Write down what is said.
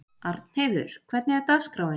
Arnheiður, hvernig er dagskráin?